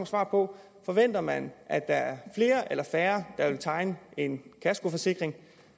svar på forventer man at der er flere eller færre der vil tegne en kaskoforsikring